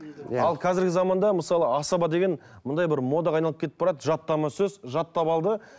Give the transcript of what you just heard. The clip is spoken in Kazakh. иә ал қазіргі заманда мысалы асаба деген мынандай бір модаға айналып кетіп барады жаттама сөз жаттап алды